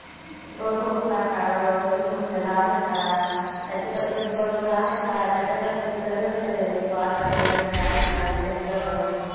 computer वगैरे लोक्कांनी शिकाल पाहिजे.